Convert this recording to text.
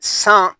San